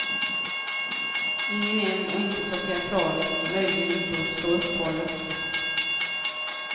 Ingen eld och inte så teatraliskt, möjligen lite åt ståupphållet.